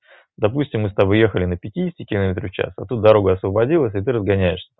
допустим мы с тобой ехали на пятидесяти километрах в час а тут дорога освободилась и ты разгоняешься